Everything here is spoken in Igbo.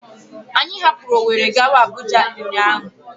Anyị hapụrụ Ọweri gawa Abụja ụnyaahụ.